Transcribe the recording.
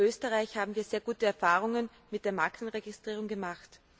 In Österreich haben wir sehr gute Erfahrungen mit der Markenregistrierung gemacht.